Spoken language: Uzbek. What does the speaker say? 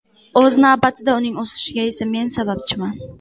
O‘z navbatida uning o‘sishiga esa men sababchiman”.